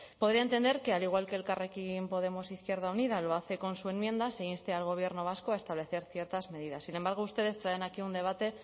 podría entender que al igual que elkarrekin podemos izquierda unida lo hace con su enmienda se inste al gobierno vasco a establecer ciertas medidas sin embargo ustedes traen aquí un debate